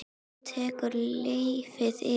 Þá tekur lífið við?